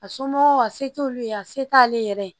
A somɔgɔw a se t'olu ye a se t'ale yɛrɛ ye